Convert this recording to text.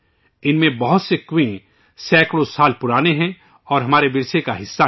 ان میں سے بہت سے کنویں سینکڑوں سال پرانے ہیں اور ہمارے ورثے کا حصہ ہیں